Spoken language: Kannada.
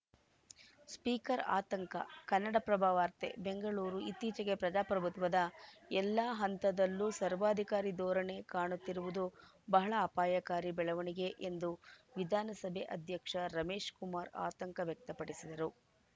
ಸ್ಪೀಕರ್‌ ಆತಂಕ ಕನ್ನಡಪ್ರಭ ವಾರ್ತೆ ಬೆಂಗಳೂರು ಇತ್ತೀಚೆಗೆ ಪ್ರದಾಪ್ರಭುತ್ವದ ಎಲ್ಲಾ ಹಂತದಲ್ಲೂ ಸರ್ವಾಧಿಕಾರಿ ಧೋರಣೆ ಕಾಣುತ್ತಿರುವುದು ಬಹಳ ಅಪಾಯಕಾರಿ ಬೆಳವಣಿಗೆ ಎಂದು ವಿಧಾನಸಭೆ ಅಧ್ಯಕ್ಷ ರಮೇಶಕುಮಾರ್‌ ಆತಂಕ ವ್ಯಕ್ತಪಡಿಸಿದರು